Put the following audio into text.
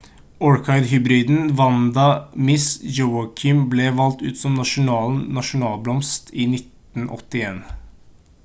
orkidé-hybriden vanda miss joaquim ble valgt ut som nasjonens nasjonalblomst i 1981